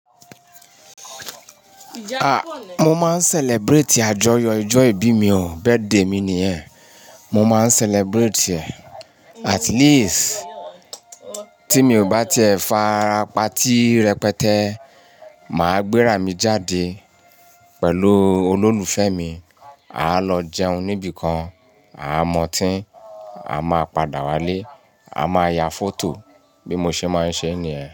A! Mo máa ń celebrate àjọyọ̀ ọjọ́ ìbí mi o, birthday mi ni yẹn. Mo máa ń celebrate e. At least tí mi ò bá ti ẹ fa ara party rẹpẹtẹ, màá gbé rà mí jáde pẹ̀lú olólùfẹ́ mi. A lọ jẹun níbi kan, a mu ọtí, a máa padà wá lé, a má ya photo bí mo ṣe máa ń ṣe ní yẹn.